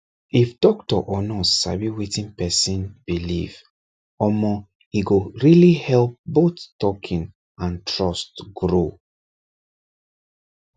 if doctor or nurse sabi wetin person believe omor e go really help both talking and trust grow